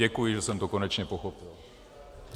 Děkuji, že jsem to konečně pochopil.